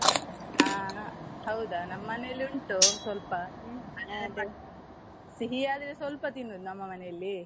ಹ ಹೌದಾ ನಮ್ಮ್ ಮನೇಲಿ ಉಂಟು ಸ್ವಲ್ಪ ಸಿಹಿ ಆದ್ರೆ ಸ್ವಲ್ಪ ತಿನ್ನುದು ನಮ್ಮ ಮನೇಲಿ.